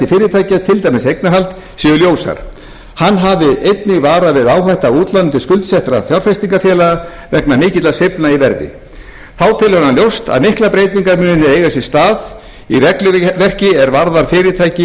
dæmis eignarhald séu ljósar hann hafi einnig varað við áhættu af útláni til skuldsettra fjárfestingarfélaga vegna mikilla sveiflna í verði þá telur hann ljóst að miklar breytingar muni eiga sér stað í regluverki er varða fyrirtæki